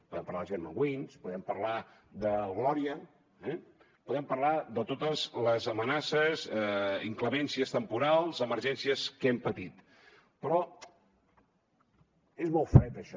podem parlar de germanwings podem parlar del glòria eh podem parlar de totes les amenaces inclemències temporals emergències que hem patit però és molt fred això